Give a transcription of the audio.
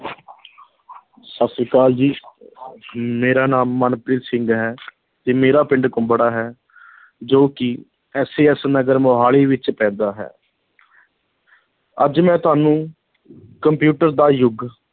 ਸਤਿ ਸ੍ਰੀ ਅਕਾਲ ਜੀ ਮੇਰਾ ਨਾਮ ਮਨਪ੍ਰੀਤ ਸਿੰਘ ਹੈ, ਤੇ ਮੇਰਾ ਪਿੰਡ ਕੁੰਬੜਾ ਹੈ ਜੋ ਕਿ SAS ਨਗਰ ਮੁਹਾਲੀ ਵਿੱਚ ਪੈਂਦਾ ਹੈ ਅੱਜ ਮੈਂ ਤੁਹਾਨੂੰ ਕੰਪਿਊਟਰ ਦਾ ਯੁੱਗ